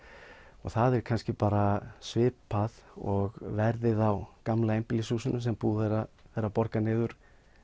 og það er kannski bara svipað og verðið á gamla einbýlishúsinu sem búið er að borga niður